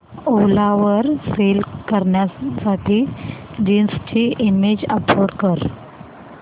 ओला वर सेल करण्यासाठी जीन्स ची इमेज अपलोड कर